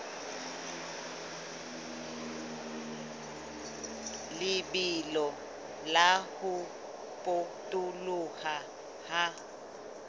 lebelo la ho potoloha ha